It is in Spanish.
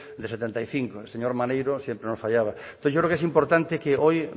de setenta y cinco el señor maneiro siempre nos fallaba entonces yo creo que es importante que hoy